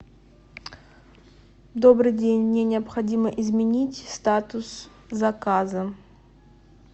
добрый день мне необходимо изменить статус заказа